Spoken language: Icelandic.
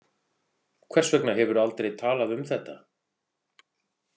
Hvers vegna hefurðu aldrei talað um þetta?